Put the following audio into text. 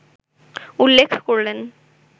উল্লেখ করলেন